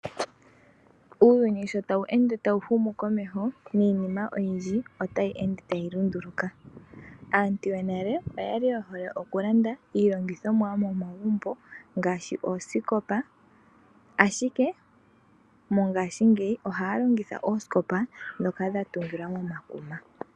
Uuyuni shi tawu humu komeho, niinima oyindji otayi ende tayi lunduluka. Aantu yonale oyali yehole okulanda iilongithomwa yomomagumbo ngaashi oosikopa. Ashike mongaashingeyi ohaya longitha oosikopa ndhono dha tungilwa mekuma.